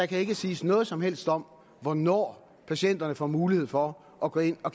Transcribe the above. kan siges noget som helst om hvornår patienterne får mulighed for at gå ind og